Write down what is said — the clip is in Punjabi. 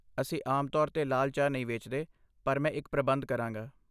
ਅਸੀਂ ਆਮ ਤੌਰ 'ਤੇ ਲਾਲ ਚਾਹ ਨਹੀਂ ਵੇਚਦੇ, ਪਰ ਮੈਂ ਇੱਕ ਪ੍ਰਬੰਧ ਕਰਾਂਗਾ।